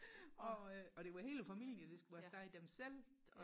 og øh og det var hele familien der skulle afsted dem selv